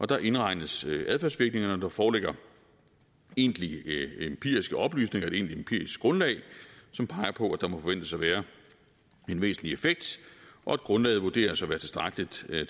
der indregnes adfærdsvirkningerne og der foreligger egentlige empiriske oplysninger et egentligt empirisk grundlag som peger på at der må forventes at være en væsentlig effekt og at grundlaget vurderes at være tilstrækkeligt til at